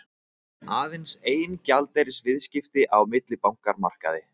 Aðeins ein gjaldeyrisviðskipti á millibankamarkaði